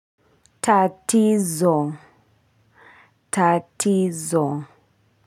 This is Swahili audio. Tatizo tatizo.